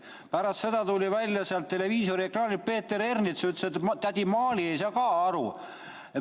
Pärast seda tuli sealt televiisoriekraanilt välja Peeter Ernits, kes ütles, et tädi Maali ei saa ka aru.